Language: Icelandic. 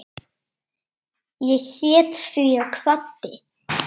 Ég hét því og kvaddi.